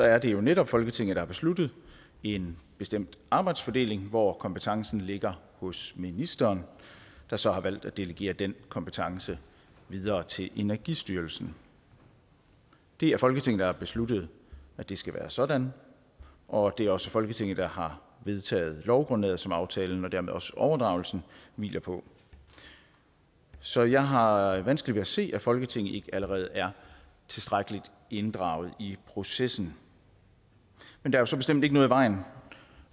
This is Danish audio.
er det jo netop folketinget som har besluttet en bestemt arbejdsfordeling hvor kompetencen ligger hos ministeren der så har valgt at delegere den kompetence videre til energistyrelsen det er folketinget der har besluttet at det skal være sådan og det er også folketinget der har vedtaget lovgrundlaget som aftalen og dermed også overdragelsen hviler på så jeg har vanskeligt ved at se at folketinget ikke allerede er tilstrækkeligt inddraget i processen men der er så bestemt ikke noget i vejen